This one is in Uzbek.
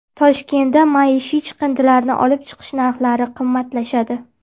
Toshkentda maishiy chiqindilarni olib chiqish narxlari qimmatlashadi.